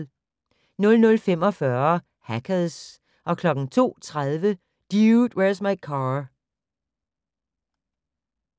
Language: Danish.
00:45: Hackers 02:30: Dude, Where's My Car?